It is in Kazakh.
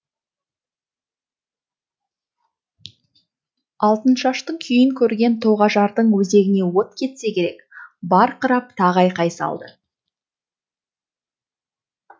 алтыншаштың күйін көрген тоғажардың өзегіне от кетсе керек барқырап тағы айқай салды